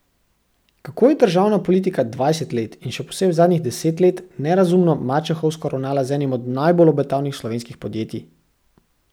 Kako je državna politika dvajset let in še posebej zadnjih deset let nerazumno mačehovsko ravnala z enim od najbolj obetavnih slovenskih podjetij?